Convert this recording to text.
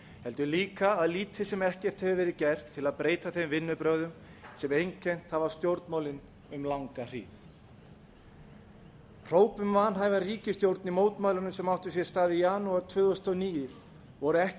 heldur líka að lítið sem ekkert hefur verið gert til breyta þeim vinnubrögðum sem einkennt hafa stjórnmálin um langa hríð hróp um vanhæfa ríkisstjórn í mótmælunum sem áttu sér stað í janúar tvö þúsund og níu voru ekki